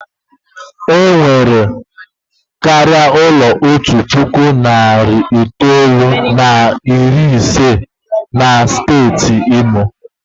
E nwere karịa ụlọ otu puku na narị itoolu na iri ise na otu na steeti Imo.